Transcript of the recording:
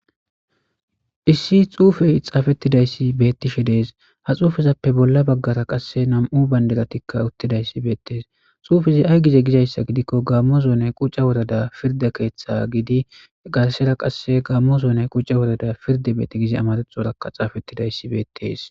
issi xuufey xaafettidayssi bettishe dees ha xuufezappe bolla baggara qasse nam7u banderatikka uttidayssi beettees xuufezi ay gize gizayssa gidikko gammo zoone qucca worada pirda keeththa gidi garsera qasse gaammo zoone qucce worada pirde betti gizi amarexorakka xaafettidayssi beettes